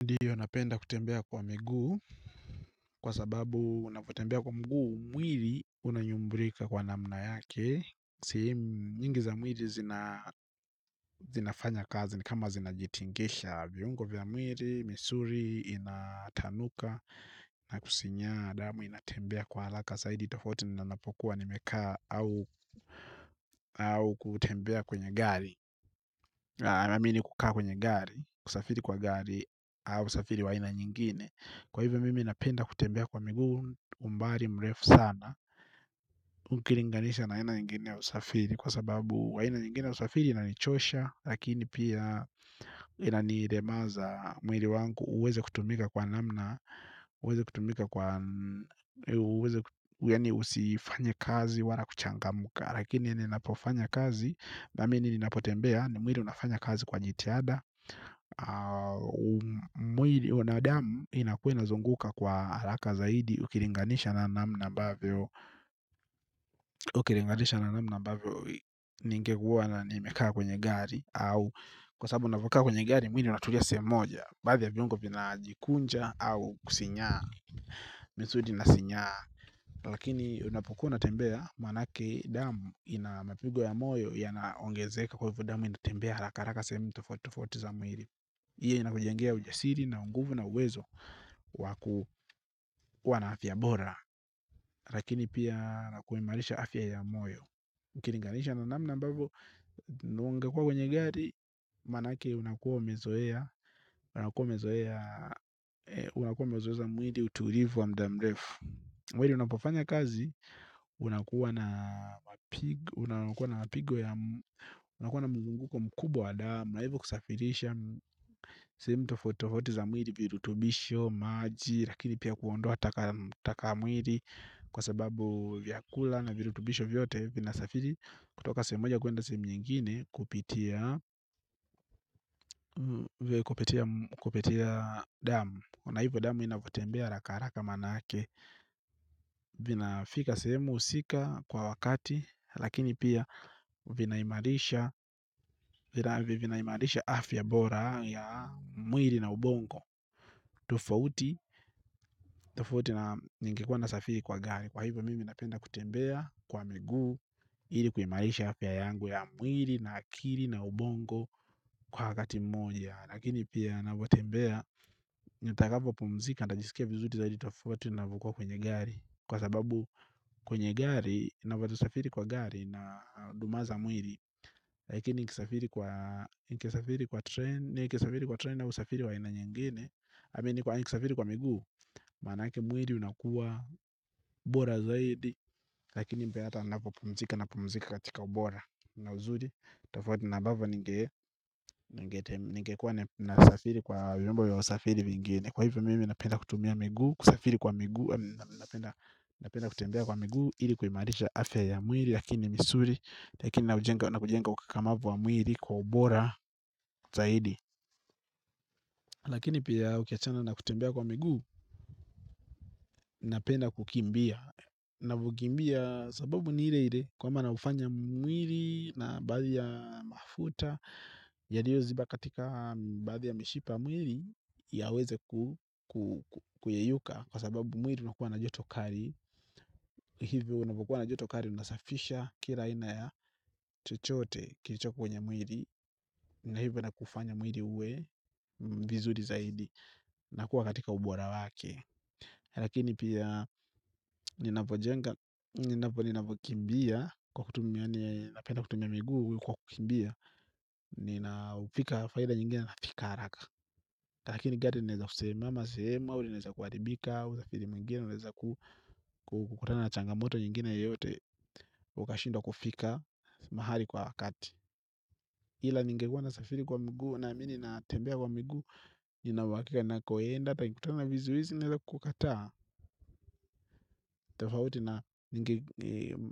Ndiyo napenda kutembea kwa mguu kwa sababu unapotembea kwa mguu mwiri unanyumbrika kwa namna yake sehemu nyingi za mwiri zinafanya kazi ni kama zinajitingisha. Viungo vya mwiri, misuri, inatanuka na kusinya adamu inatembea kwa alaka Saidi tofouti nina napokuwa nimeka au kutembea kwenye gari. Amamini kukaa kwenye gari, kusafiri kwa gari au kusafiri waina nyingine. Kwa hivyo mimi napenda kutembea kwa migu umbali mrefu sana. Ukilinganisha na aina nyingine usafiri kwa sababu aina nyingine usafiri inanichosha. Lakini pia inaniremaza mwiri wangu uweze kutumika kwa namna uweze kutumika kwa uweze yaani usifanye kazi wala kuchangamka. Lakini ninapofanya kazi na mimi ninapotembea ni mwili unafanya kazi kwa jitiada. Mwili huona damu inakuainazunguka kwa haraka zaidi. Ukilinganisha na namna ambavyo ukilinganisha na namna ambavyo ningekuwa na nimekaa kwenye gari au kwa sababu ninapokaa kwenye gari mwili unatulia sehemu moja. Bahadhi ya viongo vinajikunja. Au kusinyaa. Misudi inasinyaa. Lakini unapukua natembea. Maanake damu ina mapigo ya moyo yanaongezeka kwa hivyo damu inatembea. Haraka haraka sehemu tofoauti tofoauti fza mwili iyo inakujengea ujasiri na unguvu na uwezo waku kuwa na afya bora lakini pia nakuhimarisha afya ya moyo ukilinganisha na namna ambavyo na ungekuwa kwenye gari. Maanake unakuwa umezoea. Unakuwa umezoea. Unakuwa umezoeza za mwili utulivu wa muda mrefu mwili unapofanya kazi. Unakuwa na mapigo yaa unakua na mzunguko mkubwa wa damu na hivo kusafirisha sehemu tofoauti tofoauti za mwili kwa utumisho maji na pia kuondoa taka mwili kwa sababu vyakula na virutibisho vyote vinasafari kutoka sehemu moja kuenda sehemu nyingine kupitia kupitia damu ona hivo damu inavyotembea haraka haraka maanake. Vinafika sehemu husika kwa wakati. Lakini pia vinahimarisha vinahimarisha afya bora ya mwili na ubongo tofoauti tofoauti na ningekua nasafiri kwa gari kwa hivyo mimi napenda kutembea kwa miguu ili kuhimarisha afya yangu ya mwili na akili na ubongo kwa wakati mmoja lakini pia ninavyotembea nitakapo pumzika natajisikia vizuri zaidi tofoauti ninapokua kwenye gari kwa sababu kwenye gari ninavyosafiri kwa gari na dumaza mwili lakini nikisafiri kwa train nikisafiri kwa train au usafiri wa aina nyingine ama kwa kusafiri kwa miguu. Maanake mwili unakua. Bora zaidi. Lakini mpee ata unapopumzika na pumzika katika ubora Unauzuri Tafauti ambavyo a ninge ningekuwa nasafiri kwa Wimembo vya usafiri vingine. Kwa hivyo mimi napenda kutumia miguu. Kusafiri kwa miguu. Napenda kutembea kwa miguu ili kuhimarisha afya ya mwili. Lakini misuli lakini na kujenga ukakamavu wa mwili kwa ubora zaidi. Lakini pia ukiachana na kutembea kwa miguu na penda kukimbia ninavyokimbia sababu ni ile ike kwamba naufanya mwili na baadhi ya mafuta yaliyo ziba katika baadhi ya mishipa mwili yaweze ku kuyayuka kwa sababu mwili unakuwa na joto kali hivyo unapokua na joto kali unasafisha kila aina ya chochote kilicho kwenye mwili na hivyo inakufanya mwili uwe vizuri zaidi na kuwa katika ubora wake lakini pia ninapo jenga, ninapo kimbia kwa kutumia, ni napenda kutumia miguu kwa kukimbia nina upika faida nyingine na fika haraka, lakini gati neza kusimama sema, unaeza kuaribika wakati mwingine unaeza kukutana na changamoto nyingine yoyote ukashindwa kufika mahali kwa wakati ila ningekuwa nasafiri kwa miguu na mimi ninatembea kwa miguu nina uhakika ninako enda nanikukutana vizuhizi, nianeza kukata. Tofauti na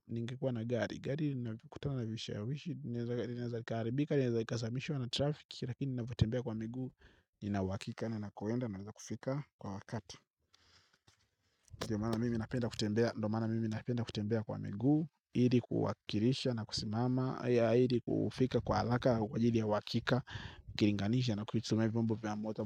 ningikuwa na gari. Gari nakutana vishawishi ineza kaharibika inaeza ikasimamishwa na traffic. Lakini ninapotembea kwa mingu ninahuhakika ninapo enda nakufika kwa wakati. Ndio maana mimi napenda kutembea. Ndio maana mimi napenda kutembea kwa miguu ili kuwakilisha na kusimama ili kufika kwa haraka. Kwa ajili ya wahakika ukilinganisha na kutumia vyombo vya moto.